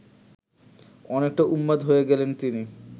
অনেকটা উন্মাদ হয়ে গেলেন তিনি